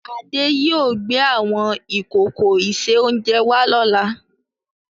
Adé yìí ó wà gbé àwọn ìkòkò ìse-oúnjẹ wá lọ́la.